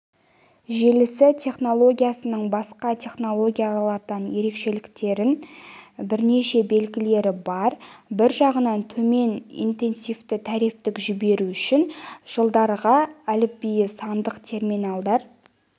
желісі технологиясының басқа технологиялардан ерекшеленетін бірнеше белгілері бар бір жағынан төмен интенсивті трафикті жіберу үшін жылдарғы әліпбиі сандық терминалдар